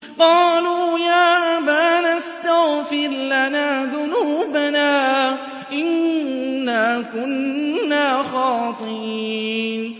قَالُوا يَا أَبَانَا اسْتَغْفِرْ لَنَا ذُنُوبَنَا إِنَّا كُنَّا خَاطِئِينَ